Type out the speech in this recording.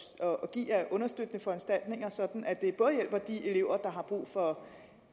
give af understøttende foranstaltninger sådan at det hjælper de elever der har brug for